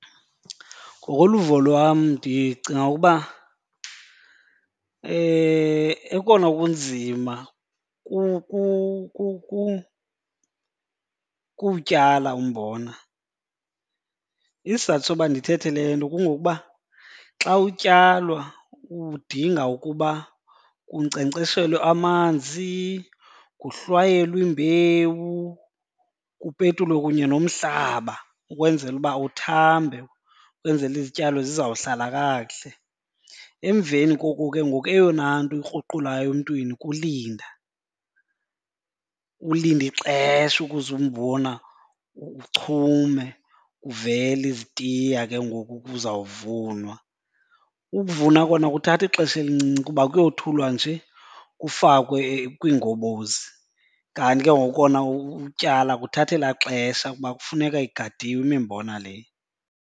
Ngokoluvo lwam ndicinga ukuba ekona kunzima kuwutyala umbona. Isizathu soba ndithethe le nto kungokuba xa utyalwa udinga ukuba kunkcenkceshelwe amanzi, nguhlwayelwe imbewu, kupetelwe kunye nomhlaba ukwenzela ukuba uthambe ukwenzela izityalo zizawuhlala kakuhle. Emveni koku ke ngoku eyona nto ikruqulayo emntwini kulinda, ulinda ixesha ukuze umbona uchume kuvele izitiya ke ngoku kuzawuvunwa. Ukuvuna kona kuthatha xesha elincinci kuba kuyothulwa nje kufakwe kwiingobozi. Kanti ke ngoku kona utyala kuthatha elaa xesha kuba kufuneka igadiwe imimbona le.